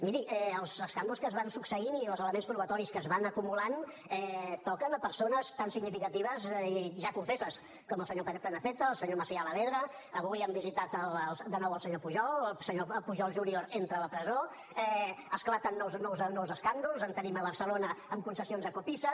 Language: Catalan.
miri els escàndols que es van succeint i els elements probatoris que es van acumulant toquen persones tan significatives i ja confesses com el senyor prenafeta el senyor macià alavedra avui han visitat de nou el senyor pujol el senyor pujol junior entra a la presó esclaten nous escàndols en tenim a barcelona amb concessions a copisa